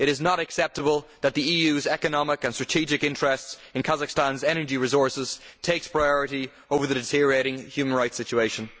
It is not acceptable that the EU's economic and strategic interests in Kazakhstan's energy resources take priority over the deteriorating human rights situation.